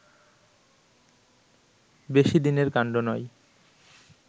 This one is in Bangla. বেশি দিনের কাণ্ড নয়